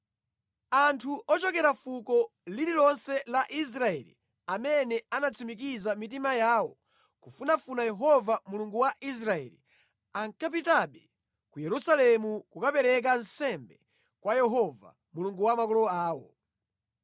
Anthu ochokera fuko lililonse la Israeli amene anatsimikiza mitima yawo kufunafuna Yehova Mulungu wa Israeli, ankapitabe ku Yerusalemu kukapereka nsembe kwa Yehova, Mulungu wa makolo awo.